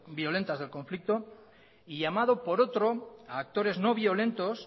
violentas del conflicto y llamado por otro a actores no violentos